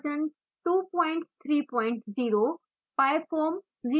openfoam version 230